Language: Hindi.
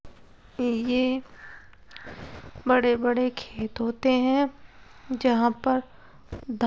ये एक बड़े-बड़े खेत होते है जहाँ पर द --